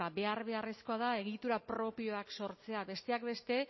behar beharrezkoa da egitura propioak sortzea besteak beste